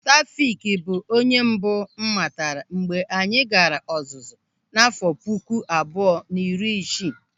Taofik bụ onye mbụ m matara mgbe anyị gaara ọzụzụ n'àfọ́ puku abụọ na iri isii.